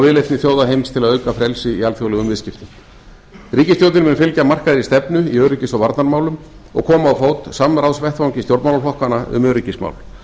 viðleitni þjóða heims til að auka frelsi í alþjóðlegum viðskiptum ríkisstjórnin mun fylgja markaðri stefnu í öryggis og varnarmálum og koma á fót samráðsvettvangi stjórnmálaflokkanna um öryggismál